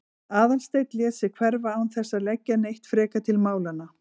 Aðalsteinn lét sig hverfa án þess að leggja neitt frekar til málanna.